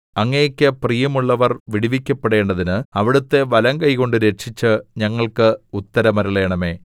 അങ്ങേക്ക് പ്രിയമുള്ളവർ വിടുവിക്കപ്പെടേണ്ടതിന് അവിടുത്തെ വലങ്കൈകൊണ്ട് രക്ഷിച്ച് ഞങ്ങൾക്ക് ഉത്തരമരുളണമേ